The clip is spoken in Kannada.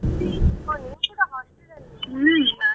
ಹೋ ನೀವ್ ಕೂಡ hostel ಅಲ್ಲಿ ಇರೋದ?